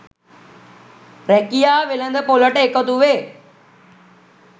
රැකියා වෙළඳ පොළට එකතුවේ